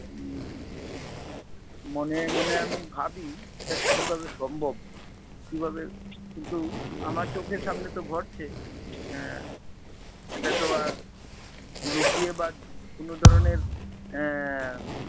মনে মনে আমি ভাবি এটা কিভাবে সম্ভব! কিভাবে! কিন্তু আমার চোখের সামনে তো ঘটছে আহ এটা তো আর লুকিয়ে বা কোন ধরনের আহ